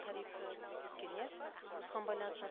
тарифы өскен иә осыған байланысты